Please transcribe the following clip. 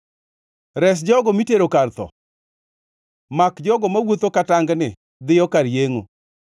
Res jogo mitero kar tho; mak jogo mawuotho ka tangni dhiyo kar yengʼo.